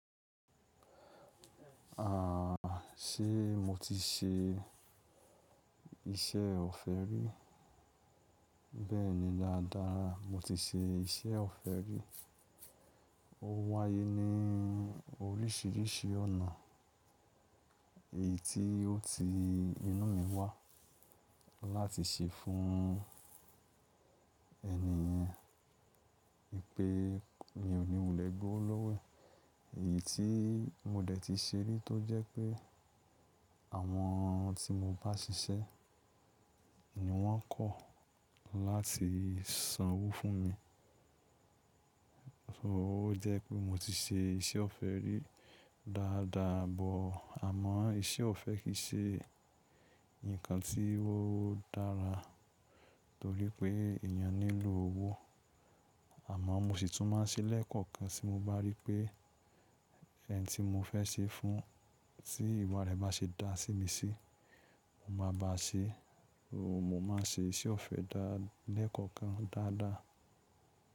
Ṣe mo ti ṣe iṣẹ́ ọ̀fẹ́ rí? Bẹ́ẹ̀ni dáadáa, mo ti ṣe iṣẹ́ ọ̀fẹ́ rí. Ó wáyé ní oríṣìíríṣìí ọ̀nà. Èyí tí ó ti inú mi wà láti ṣe fún ẹni yẹn, wípé pé mi ò ní wulẹ̀ gbowó lọ́wọ́. Èyí tí mo dẹ̀ ti ṣe rí tó jẹ́ pé àwọn tí mo bá ṣiṣẹ́ ni wọ́n kọ̀ láti sanwó fún mi. So ó jẹ́ pé mo ti ṣe iṣẹ́ ọ̀fẹ́ rí dáadáa but, àmọ́ iṣẹ́ ọ̀fẹ́ kì í ṣe nǹkan tí ó dára torí pé èèyàn nílò owó. Àmọ́ mo sì tún máa ṣẹ́ lẹ́ẹ̀kọ̀kan tí mo bá rí pé ẹni tí mo fẹ́ ṣẹ́ fún, tí ìwọ̀n rẹ̀ bá ṣe dá sí mi sí, mo máa ba ṣe, mo máa ń ṣe iṣẹ́ ọ̀fẹ́ dá lẹ́ẹ̀kọ̀kan dáadáa.